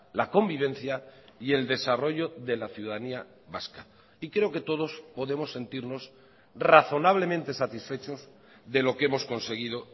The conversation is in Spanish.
la convivencia y el desarrollo de la ciudadanía vasca y creo que todos podemos sentirnos razonablemente satisfechos de lo que hemos conseguido